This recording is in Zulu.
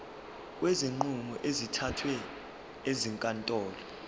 kwezinqumo ezithathwe ezinkantolo